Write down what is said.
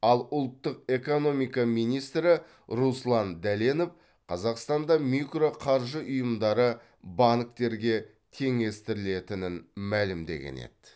ал ұлттық экономика министрі руслан дәленов қазақстанда микроқаржы ұйымдары банктерге теңестірілетінін мәлімдеген еді